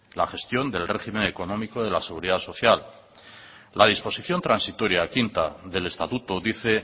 la gestión del régimen económico de la seguridad social la disposición transitoria quinta del estatuto dice